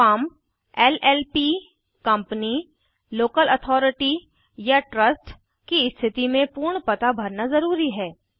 firm LLP company local authority या trust की स्थिति में पूर्ण पता भरना ज़रूरी है